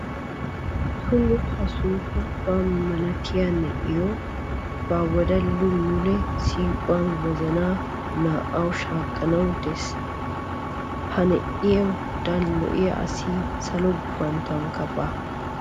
Tumma ha sunkkurutuwa malattiya na'iyo be 'a wodalli mule siiquwan wozana naa'awu shaakanawu de'ees. Ha na'eddan lo'iya asi salo gufanttonkka baawa.